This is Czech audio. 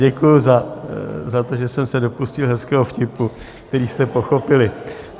Děkuju za to, že jsem se dopustil hezkého vtipu, který jste pochopili.